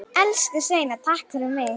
Elsku Sveina takk fyrir mig.